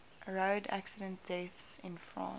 road accident deaths in france